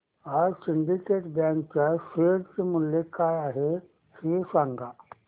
आज syndicate bank च्या share चे मूल्य काय आहे हे सांगा